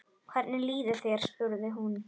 Hvernig líður þér? spurði hún.